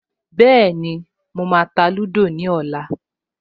Bẹ́ẹ̀ni, mo máa ta lúdò ní ọ̀la